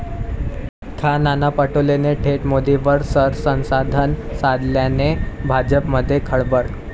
खा. नाना पटोलेंनी थेट मोदींवर शरसंधान साधल्याने भाजपमध्ये खळबळ!